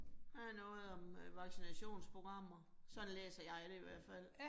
Her er noget om øh vaccinationsprogrammer, sådan læser jeg det i hvert fald